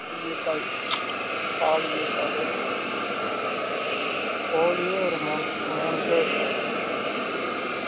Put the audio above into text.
ஈயக்கால், காலு ஈயக்காலு கோழியே ஒரு மூனு மூனு கிலோ இருக்கும்